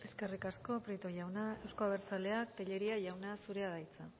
eskerrik asko prieto jauna euzko abertzaleak tellería jauna zurea da hitza